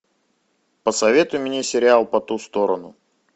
посоветуй мне сериал по ту сторону